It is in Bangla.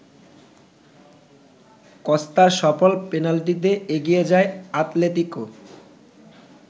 কস্তার সফল পেনাল্টিতে এগিয়ে যায় আতলেতিকো।